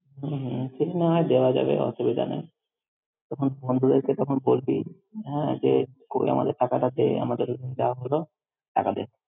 হমম, সেটা নাহয় দেওয়া যাবে অসুবিধা নেই। তখন বন্ধুদেরকে তখন বলবি, হ্যাঁ যে কই আমাদের টাকাটা দে আমাদের যা হলো, টাকা দে।